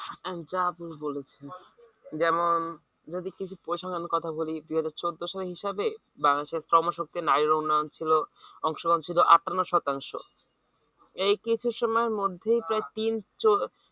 বলেছেন যেমন যদি কিছু কথা বলি দিয়ে হয়তো চোদ্দোশো হবে বাংলাদেশের চর্ম শক্তি উন্নয়ন ছিল অংশগ্রহণ ছিল আটান্ন শতাংশ এই কিছু সময়ের প্রায় তিন